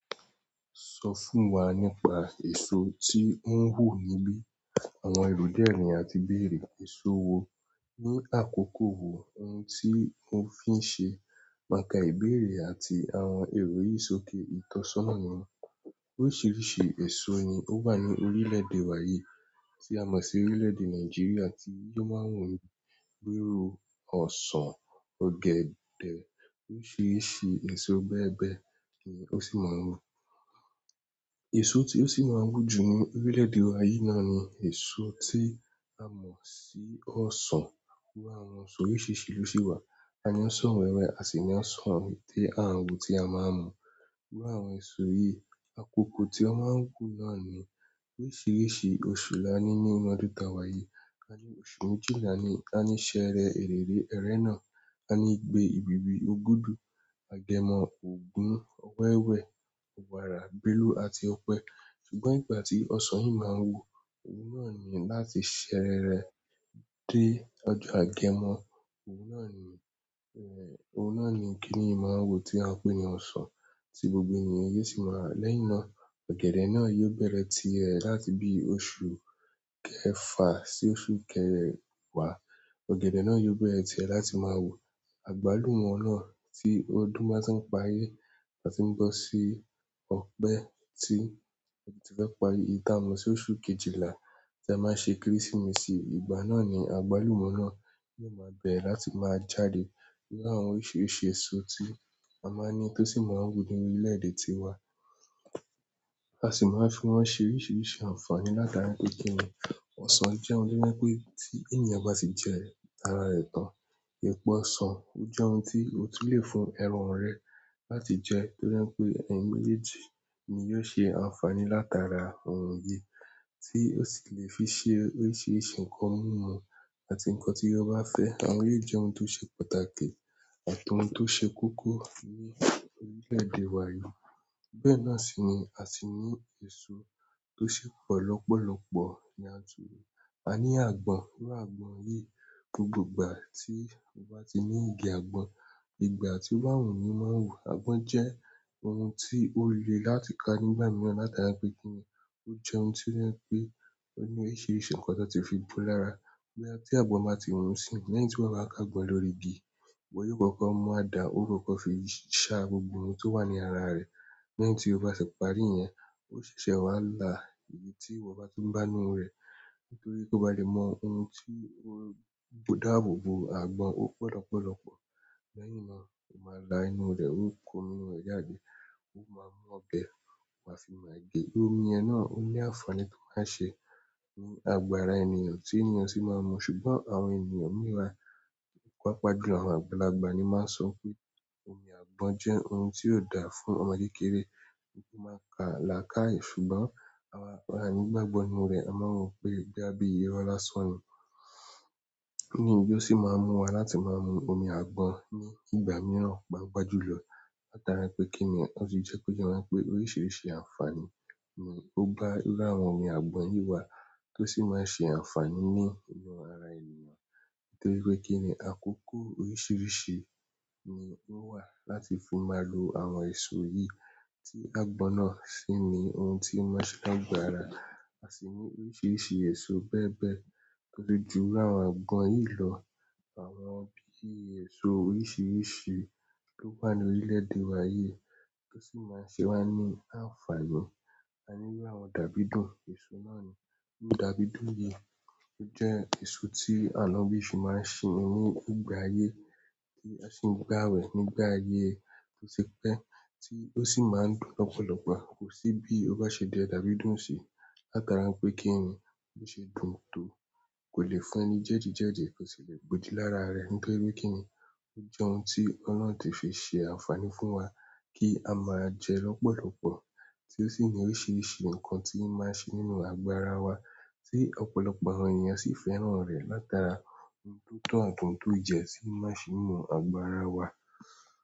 Sọ fún wa nípa èso tí ó ń wù níbí. Àwọn èrò di ẹ́ ni àti béèrè. Eso wo ní àkókò wo ohun tí ó fi ń ṣe. Màkà ìbéèrè àti àwọn èrò yìí sókè. Ìtọ́sọ́nà ni wón. Oríṣiríṣi èso ni ó wà ní orílè-èdè wa yìí tí a mọ̀ sí orílè-èdè Nàìjíríà tí yó máa ń wù ní iru, ọ̀sán, ọ̀gẹ̀dẹ̀, oríṣiríṣi èso bẹ́ẹ̀ bẹ́ẹ̀ ni ó sì máa ń wù. Èso tí ó sì máa ń wù jù ní orílè-èdè wa yìí náà ni èso tí a mọ̀ sí ọ̀sán. Iru àwọn ọsan oríṣiríṣi lo ṣi wa. A ní ọ̀sán wẹ́wẹ́ àsi ní ọ̀sán ète àwo tí a máa ń mu. Iru àwọn èso yìí, àkókò tí wọ́n máa ń hùn náà ni oríṣiríṣi oṣù la ní nínú ọdún ta wa yìí. A ní oṣù méjìlá ni a ní ìṣẹ́rẹ́ ẹrẹ̀rẹ̀, ẹrẹ̀na, a ní igbé ìbíbi, Ògùdù, Agemọ, ògún, ọwẹwẹ́, ọ̀wàrà, gbẹ́lú àti ọpẹ. Ṣùgbọ́n ìgbà tí ọ̀sán yìí máa ń wù, ohun náà ni láti ṣẹ́rẹ́rẹ dé ọjọ́ agemọ. Ohun náà ni, kini yìí máa wù tí a ń pè ní ọ̀sán tí gbogbo ènìyàn yó sì máa rá á. Lẹ́yìn náà, ọ̀gẹ̀dẹ̀ náà yóò bẹ̀rẹ̀ tirẹ̀ láti bí i oṣù kẹfà sí oṣù kẹewa. Ọ̀gẹ̀dẹ̀ náà yóò bẹ̀rẹ̀ tirẹ̀ láti máa wù. Agbalumọ náà ti ọdún bá tíì parí a tii bọ sii ọpe èyí ti a mọ síi oṣù kejìlá ti a máa ṣe kérésìmesì ìgbà náà ni agbalumọ náà yóò maa bẹrẹ láti maa jáde irú àwọn oríṣiríṣi èso tí a máa ń ní tó sì máa ń wù ní orílè-èdè tiwa. A sì máa ń fi wọ́n ṣe oríṣiríṣi ànfàní látara pé kíni ọ̀sán jẹ́ ohun to jẹ pe ti ènìyàn bá ti jẹ ẹ́, ara rẹ̀ tán. Ẹ̀pọ̀ ọ̀sán o jẹ́ ohun tí o tún le fún ẹ̀ran rẹ láti jẹ to jẹ pé eyin méjèèjì ni yóò ṣe ànfàní látara ohun yìí tí ó sì le fi ṣe oríṣiríṣi nǹkan mú mu àti nǹkan tí o ba fẹ́. Àwọn yìí jẹ́ ohun tó ṣe pàtàkì àti ohun to ṣe kókó ni orile-ede wa yìí, bẹ́ẹ̀ náà sii ni a sii ni eso to si pọ lọpọlọpọ. A ní àgbọn. Iru àwọn àgbọn yìí, gbogbo ìgbà tí o bá ti ní igi àgbọn, ìgbà tí o wù ni o máa ń wù. Àgbọn jẹ́ ohun tí ó le láti ká nígbà mìíràn látara pé kíni ó jẹ́ ohun tó jẹ pe o ni oríṣiríṣi nǹkan tí ó ti fi bú lára. Boya tí àgbọn ba ti wù isínyii, lẹ́yìn tí ìwọ bá kágbọn lórí igi, ìwọ yóò kọ́kọ́ mú àdá, ó kọ́kọ́ fi ṣá gbogbo ohun tó wà ní ara rẹ̀. Lẹ́yìn tí ó bá tì parí yẹn, ó ṣèṣè wa la ibi tí ìwọ bá tún bá inú rẹ̀, nítorí kó bá lè mọ ohun tí ó dàbòbò àgbọn ó pọ̀ lọ́pọ̀lọ́pọ̀. Lẹ́yìn náà o maa la inú rẹ, o ko omi inú rẹ jáde o wa mu ọbẹ wasii máa ge, omi yẹn náà o ni àǹfààní ti o maa se ní àgọ ara ènìyàn, ti ènìyàn si maa n mu ṣùgbọ́n àwọn ènìyàn mìí wa, pàápàá jùlọ àwọn àgbàlagbà ni máa ń sọ pé omi àgbọn jẹ́ ohun tí ò dà fún ọmọ kékeré wípé ó máa pa làkáye. Ṣùgbọ́n àwa a nigbagbo nínú rẹ̀ a máa ru pé boya bí irọ láisan ni ti ojó sì máa ń mú wa láti máa mu omi àgbọn ní ìgbà mìíràn, pàápàá jùlọ látara pé kíni wọn ti jẹ́ ko yẹ wa wipé oríṣiríṣi ànfàní ni ó gba láwọn omi àgbọn yìí wà tó sì máa ń ṣe ànfàní ní inú ara ènìyàn. Nítorí pé kíni àkókò oríṣiríṣi ni ó wà láti fi máa lo àwọn èso yìí tí àgbọn náà sì ni ohun tí ó máa ń ṣe ni àgọ ara. A sì ní oríṣiríṣi èso bẹ́ẹ̀ bẹ́ẹ̀ to tun ju irú àwọn àgbọn yìí lọ. Àwọn bí i èso oríṣiríṣi tó wà ní orílè-èdè wa yìí tó sì máa ń ṣe wá ní àǹfààní. A ní bí àwọn dàbídùn, èso náà ni irú dàbídùn yìí. Ó jẹ́ èso tí àwọn ọbí sì máa ń sinmi ní ìgbà ayé tí a sì ń gbà wẹ̀ nígbà ayé tó ti pẹ́ tí ó sì máa ń dùn lọ́pọ̀lọ́pọ̀. Kò sí bí o bá ṣe jẹ dàbídùn sí látara pé kíni ó ṣe dùn tó kò lè fún ẹni jẹ́ẹ̀dí jẹ́ẹ̀dí tó sì lè gbojú lára rẹ nítorí pé kíni ó jẹ́ ohun tí Ọlọ́run ti fi ṣe ànfàní fún wa kí a máa jẹ lọ́pọ̀lọ́pọ̀ tí ó sì ní oríṣiríṣi nǹkan tí í máa ń ṣe nínú àgọ àrá wa tí ọ̀pọ̀lọpọ̀ àwọn ènìyàn sì fẹ́ràn rẹ̀ látara ohun tó tọ̀ àti ohún tó yẹ tíi n máa ṣe se inú agọ́ àrá wa.